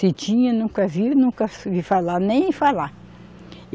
Se tinha, nunca vi, nunca falar, nem falar.